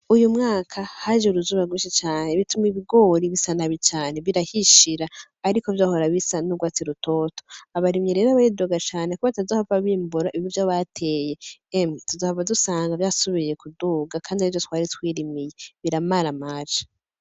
Uyu mwaka haje uruzuba rwinshi cane bituma ibigori busa nabi cane birahishira ariko vyahora bisa n’urwatsi rutoto, abarimyi rero baridoga cane ko batazohava bimbura ivyo bateye . Emwe, tuzobaha dusanga vyasubiye kuduga Kandi arivyo twari twirimiye , biramaramaje !